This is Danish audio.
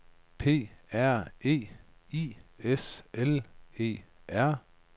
P R E I S L E R